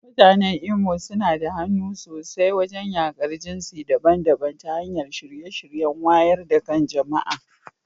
Mutanen Imo suna da hannu sosai wajen yaƙar jinsi daban-daban ta hanyar shirye-shiryen wayar da kan jama'a.